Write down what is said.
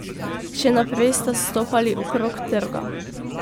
Še naprej sta stopali okrog trga.